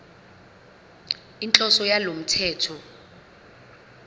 inhloso yalo mthetho